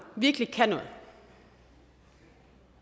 virkelig kan noget